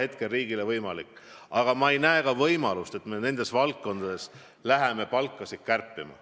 Riigil ei ole võimalik neid palku tõsta, aga ma ei näe ka võimalust, et me nendes valdkondades läheme palkasid kärpima.